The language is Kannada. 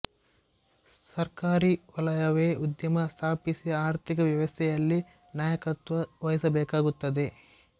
ಸರ್ಕಾರೀ ವಲಯವೇ ಉದ್ಯಮ ಸ್ಥಾಪಿಸಿ ಆರ್ಥಿಕ ವ್ಯವಸ್ಥೆಯಲ್ಲಿ ನಾಯಕತ್ವ ವಹಿಸಬೇಕಾಗುತ್ತದೆ